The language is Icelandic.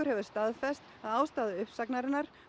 hefur staðfest að ástæða uppsagnarinnar